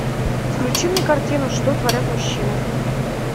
включи мне картину что творят мужчины